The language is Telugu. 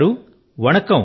కనిగా గారూ